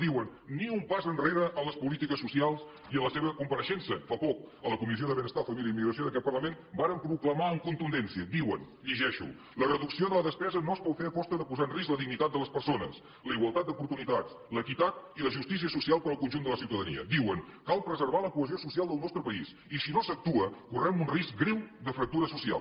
diuen ni un pas enrere en les polítiques socials i a la seva compareixença fa poc a la comissió de benestar família i immigració d’aquest parlament varen proclamar amb contundència diuen ho llegeixo la reducció de la despesa no es pot fer a costa de posar en risc la dignitat de les persones la igualtat d’oportunitats l’equitat i la justícia social per al conjunt de la ciutadania diuen cal preservar la cohesió social del nostre país i si no s’actua correm un risc greu de fractura social